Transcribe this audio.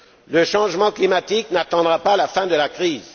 Le changement climatique n'attendra pas la fin de la crise.